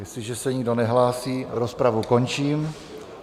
Jestliže se nikdo nehlásí, rozpravu končím.